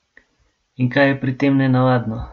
In kaj je pri tem nenavadno?